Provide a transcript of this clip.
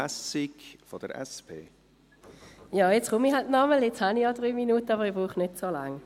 Ja, jetzt komme ich halt noch einmal, jetzt habe ich ja drei Minuten, aber ich brauche nicht so lange.